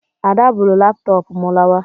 Ada buuru laptoopu m lawa